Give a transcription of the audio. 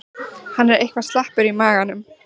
Hann er eitthvað slappur í maganum.